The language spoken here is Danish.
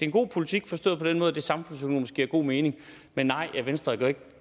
god politik forstået på den måde at det samfundsøkonomisk giver god mening men nej venstre går ikke